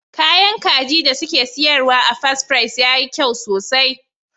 Kayan kajin da suke siyarwa a Fast Fries yayi kyau sosai.